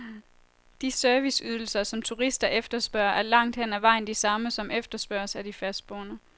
De serviceydelser, som turister efterspørger, er langt hen ad vejen de samme, som efterspørges af de fastboende.